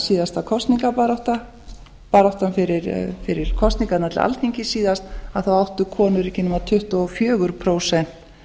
síðasta kosningabarátta baráttan fyrir kosningarnar til alþingis síðast þá áttu konur ekki nema tuttugu og fjögurra prósenta